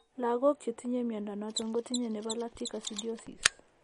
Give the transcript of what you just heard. Lagok chetinye mnyondo noton kotinye nebo lactic acidiosis